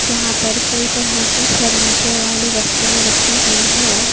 जहां पर कई तरह की फर्नीचर वाली वस्तुएं रखी हुई है।